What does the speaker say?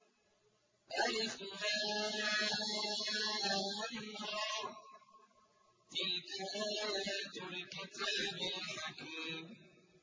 الر ۚ تِلْكَ آيَاتُ الْكِتَابِ الْحَكِيمِ